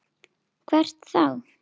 Hvert þá?